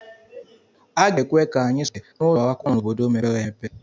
A ga-ekwe ka anyị sụọ naanị asụsụ bekee n'ụlọ akwụkwọ nọ n'obodo mepere emepe.